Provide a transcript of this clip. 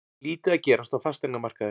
Lítið að gerast á fasteignamarkaði